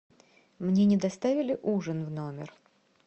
мне не доставили ужин в номер